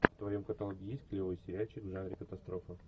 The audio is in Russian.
в твоем каталоге есть клевый сериальчик в жанре катастрофа